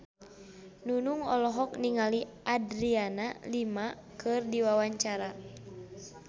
Nunung olohok ningali Adriana Lima keur diwawancara